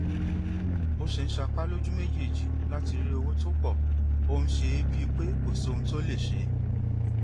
bó ṣe ń sapá lójú méjèèjì láti rí owó tó pọ ó ń ṣe é bíi pé kò sóhun tó lè ṣe